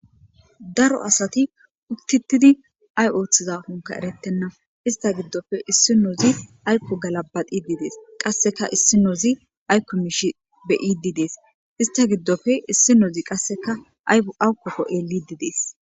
daro asati utti utidi ay ooththiza funka eretenna ista giddofe issi noozi aykko galabaqi diidees qasseka issinoozi aykko miishi be7idi dees ista giddofe issinozi qasseka ayu awukkokko xeelidi dees